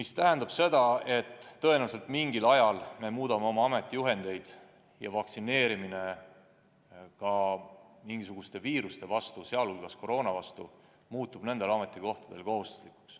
See tähendab seda, et tõenäoliselt me mingil ajal muudame oma ametijuhendeid ja teeme vaktsineerimise teatud viiruste vastu, sh koroonaviiruse vastu paljudel ametikohtadel kohustuslikuks.